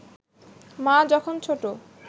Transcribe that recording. মা যখন ছোট